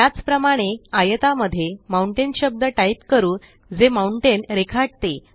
त्याचप्रमाणे आयता मध्ये माउंटेन शब्द टाईप करू जे माउंटेन रेखाटते